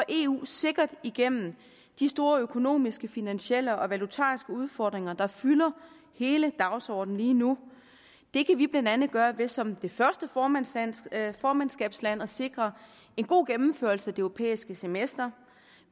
eu sikkert igennem de store økonomiske finansielle og valutariske udfordringer der fylder hele dagsordenen lige nu det kan vi blandt andet gøre ved som det første formandskabsland formandskabsland at sikre en god gennemførelse af det europæiske semester